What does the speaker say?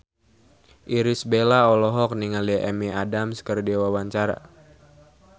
Irish Bella olohok ningali Amy Adams keur diwawancara